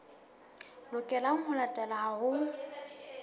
lokelang ho latelwa ha ho